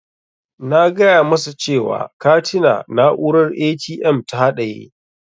Na gaya masa cewa katina na'urar ATM ta haɗaye.